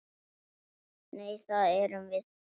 Nei, það erum við.